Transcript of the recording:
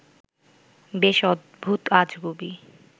বেশ অদ্ভুত-আজগুবি